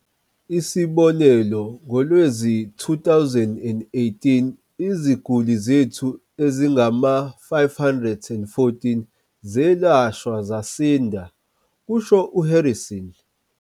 "Isibonelo, ngowezi-2018, iziguli zethu ezingama-514 zelashwa zasinda," kusho u-Harrison.